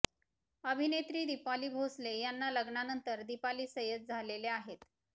अभिनेत्री दिपाली भोसले यांना लग्नानंतर दिपाली सय्यद झालेल्य आहेत